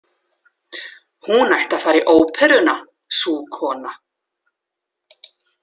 Hún ætti að fara í óperuna, sú kona.